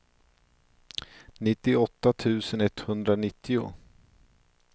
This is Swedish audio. nittioåtta tusen etthundranittio